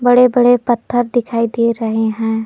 बड़े बड़े पत्थर दिखाई दे रहे हैं।